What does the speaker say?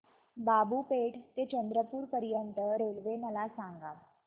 बाबूपेठ ते चंद्रपूर पर्यंत रेल्वे मला सांगा